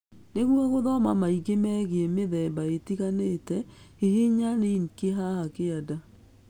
Nĩguo gũthoma maingĩ megiĩ mĩthemba ĩtiganĩte, hihinya rinki haha kĩanda